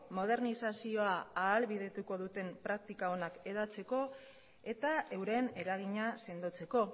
modernizazioa ahalbidetuko duten praktika onak hedatzeko eta euren eragina sendotzeko